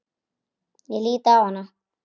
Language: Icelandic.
Ég lít á hana.